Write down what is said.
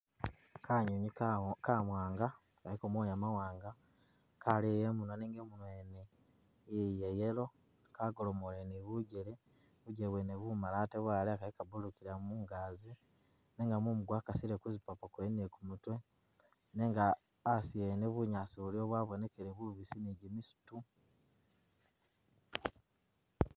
Kanwinwi kawanga kaliko moya mawanga kaleya imumwa nenga imunwa wene ya yellow, kagolomule ni bujele bwene bumali atee kalala kili kabulukila mungazi nenga mumu gwekasile kuzipapo kwene ni kumutwe nenga asi yene bunyaasi buliwo bwabonekele ni jimisitu.